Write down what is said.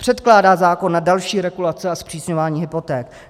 Předkládá zákon na další regulace a zpřísňování hypoték.